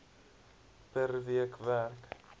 per week werk